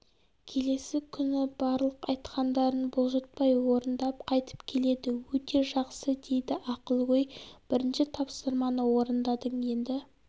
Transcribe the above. келесі күні барлық айтқандарын бұлжытпай орындап қайтып келеді өте жақсы дейді ақылгөй бірінші тапсырманы орындадың енді